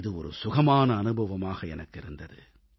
இது ஒரு சுகமான அனுபவமாக எனக்கு இருந்தது